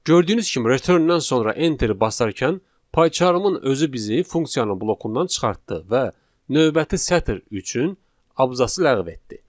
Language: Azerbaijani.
Gördüyünüz kimi return-dən sonra enteri basarkən payçarımın özü bizi funksiyanın blokundan çıxartdı və növbəti sətr üçün abzas ləğv etdi.